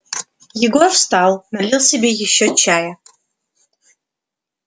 егор встал налил себе ещё чая